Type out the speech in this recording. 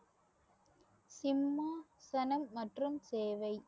சிம்மாசனம் மற்றும் சேவை